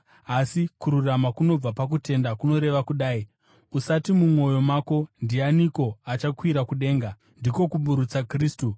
Asi kururama kunobva pakutenda kunoreva kudai, “Usati mumwoyo mako, ‘Ndianiko achakwira kudenga’ (ndiko kuburutsa Kristu)